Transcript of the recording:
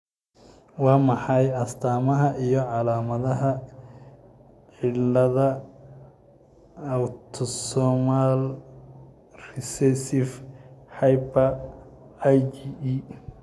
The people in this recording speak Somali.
Waa maxay astaamaha iyo calaamadaha cillada Autosomal recessive hyper IgE?